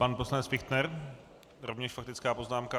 Pan poslanec Fichtner, rovněž faktická poznámka.